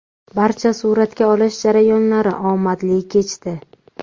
Barcha suratga olish jarayonlari omadli kechdi.